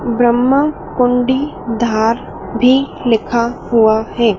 ब्रह्मा कुंडी धार भी लिखा हुआ है।